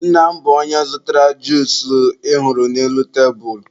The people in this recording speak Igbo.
nna m bụ onye zụtara juusu ị hụrụ n'elu tebulu